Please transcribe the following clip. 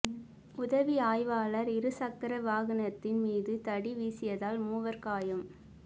உதவி ஆய்வாளர் இருசக்கர வாகனத்தின் மீது தடி வீசியதால் மூவர் காயம்